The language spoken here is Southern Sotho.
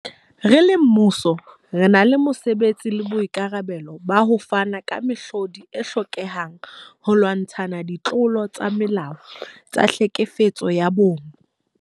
Re le mmuso, re na le mosebetsi le boikarabelo ba ho fana ka mehlodi e hlokehang holwantshwa ditlolo tsa molao tsa tlhekefetso ya bong.